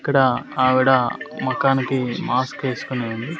ఇక్కడ ఆవిడ మొఖానికి మాస్క్ ఏస్కొని ఉంది.